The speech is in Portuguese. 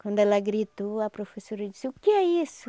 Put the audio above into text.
Quando ela gritou, a professora disse, o que é isso?